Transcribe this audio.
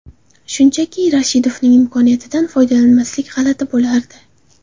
Shunchaki, Rashidovning imkoniyatidan foydalanmaslik, g‘alati bo‘lardi.